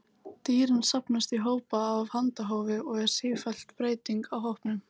Dýrin safnast í hópa af handahófi og er sífelld breyting á hópunum.